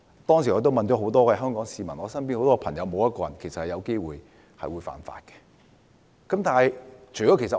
當時我詢問了很多市民和身邊的朋友，其實沒有一個人有機會干犯這項法例。